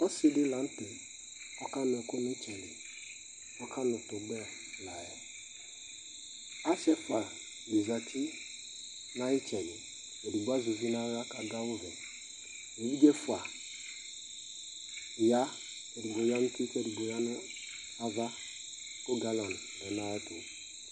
Ɔsɩ ɖɩ la nʋtɛ ɔƙanʋɛƙʋ nʋ ɩtsɛliƆƙanʋ tʋgbɛ laƴɛAsɩ ɛƒʋaɖɩ zati n'aƴʋɩtsɛɖɩ, eɖigbo azɛ uvi n'aɣla ƙʋaɖʋ awʋ vɛEviɖze ɛƒʋa ƴa, eɖigbo ƴa n'ava ƙ'eɖigbo ƴa nʋ uti ƙʋ galɔnɩ lɛ nʋ aƴɛtʋ